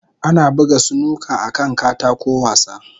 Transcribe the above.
Ana buga snooker akan katako wasa.